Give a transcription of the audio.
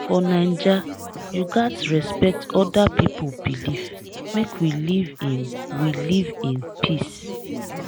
for naija you gats respect oda pipo belief make we live in we live in peace.